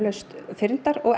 fyrndar og